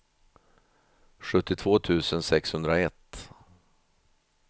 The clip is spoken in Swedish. sjuttiotvå tusen sexhundraett